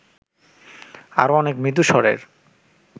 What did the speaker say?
আরো অনেক মৃদু-স্বরের